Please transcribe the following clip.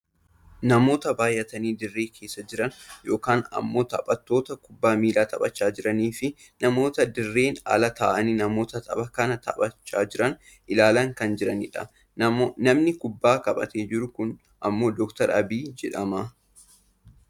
Namoota baayyatanii dirree keessa jiran yookaan ammoo taphattoota kubbaa miilaa taphachaa jiraniifi namoota dirreen ala taa'anii namoota tapha kana taphachaa jiran ilaalaa kan jiranidha. Namni kubbaa qabatee jiru kun ammoo Dr Abiyyi jedhama.